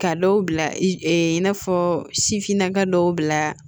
Ka dɔw bila i n'a fɔ sifinnaka dɔw bila